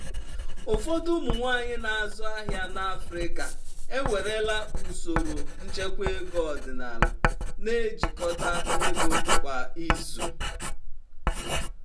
ụfọdụ ụmụ nwanyị na-azụ ahịa n'afrika ewerela usoro nchekwa ego ọdịnala na-ejikọta ego kwa izu.